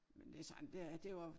Men det sådan det det var